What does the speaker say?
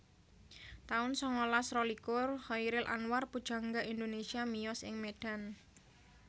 taun sangalas rolikur Chairil Anwar pujangga Indonesia miyos ing Medan